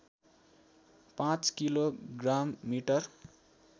५ kilo ग्राममिटर